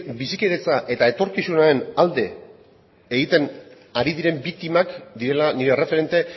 bizikidetza eta etorkizunaren alde egiten ari diren biktimak direla nire erreferente